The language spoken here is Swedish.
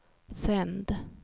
sänd